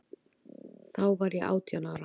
Þá var ég átján ára.